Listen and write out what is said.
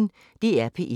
DR P1